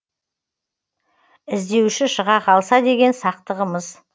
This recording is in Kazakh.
і здеуші шыға қалса деген сақтығымыз